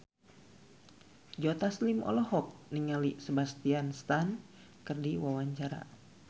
Joe Taslim olohok ningali Sebastian Stan keur diwawancara